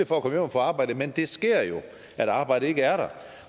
for at at få arbejde men det sker jo at arbejdet ikke er der